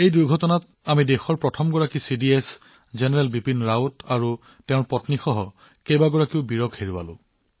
সেই দুৰ্ঘটনাত আমি দেশৰ প্ৰথম চিডিএছ জেনেৰেল বিপিন ৰাৱাট আৰু তেওঁৰ পত্নীকে ধৰি বহুতো নায়কক হেৰুৱাইছিলো